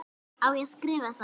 Á ég að skrifa það?